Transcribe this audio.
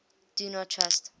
do not trust